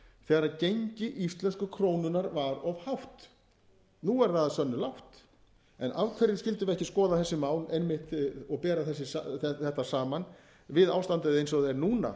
þegar gengi íslensku krónunnar var of hátt nú er það að sönnu lágt en af hverju skyldum við ekki skoða þessi mál einmitt og bera þetta saman við ástandið eins og það er núna